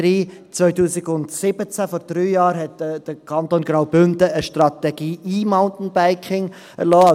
Im Jahr 2017, vor drei Jahren, hat der Kanton Graubünden eine Strategie E-Mountainbiking erlassen.